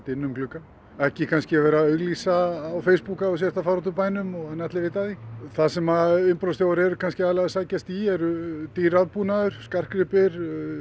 inn um gluggann ekki kannski vera að auglýsa á Facebook að þú sért að fara út úr bænum þannig að allir viti af því það sem innbrotsþjófar eru aðallega að sækjast í eru dýr rafbúnaður skartgripir